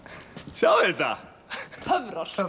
sjáið þetta töfrar